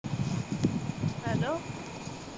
hello